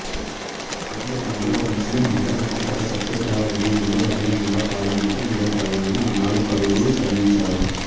ఆంధ్రావనిలో ఒక ముస్లిం మహిళ వ్యక్తిగత సత్యాగ్రహ ఉద్యమంలో బహిరంగంగా పాల్గొనటం ఇదే ప్రథమమని ఆనాడు పలువురు శ్లాఘించారు